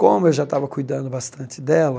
Como eu já estava cuidando bastante dela,